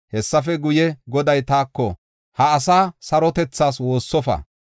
Hessafe guye, Goday taako, “Ha asaa sarotethaas woossofa.